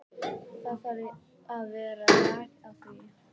Það þarf að vera lag á því.